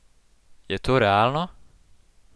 Je to realno?